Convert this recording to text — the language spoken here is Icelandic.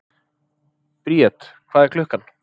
Briet, hvað er klukkan?